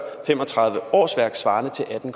fem og tredive årsværk svarende til atten